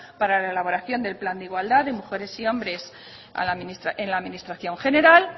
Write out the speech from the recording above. para la elaboración del plan de igualdad de mujeres y hombres en la administración general